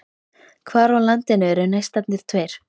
Hvar á landinu eru Neistarnir tveir?